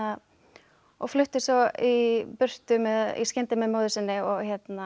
og flutti svo í burtu í skyndi með móður sinni og